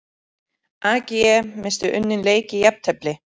AG missti unninn leik í jafntefli